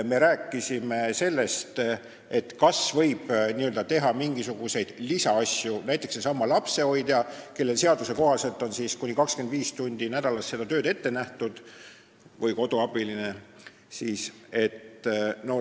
Me rääkisime sellest, kas võib näiteks seesama lapsehoidja või koduabiline, kes seaduse kohaselt võib töötada kuni 25 tundi nädalas, veel mingeid lisatöid teha.